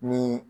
Ni